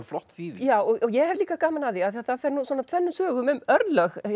flott þýðing ég hef líka gaman af því af því það fer tvennum sögum um örlög